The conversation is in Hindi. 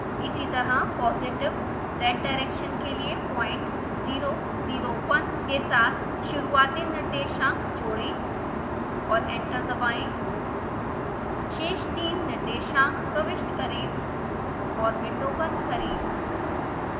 इसीतरह पोजिटिव zdirection के लिए प्वाइंट 0 0 1 के साथ शुरूआती निर्देशांक जोडें और एंटर दबाएँ शेष तीन निर्देशांक प्रविष्ट करें और विंडो बंद करें